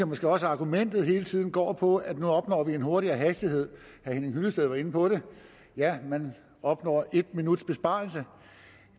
måske også at argumentationen hele tiden går på at nu opnår vi en højere hastighed herre henning hyllested var inde på det ja man opnår en minuts besparelse og